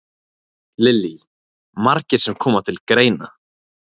Lillý: Margir sem koma til greina?